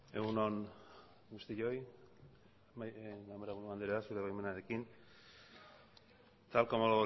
egun on guztioi ganbaraburu andrea zure baimenarekin tal como